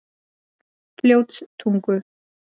Fljótstungu